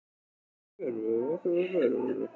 Og vinir mínir voru fullkomnir líka.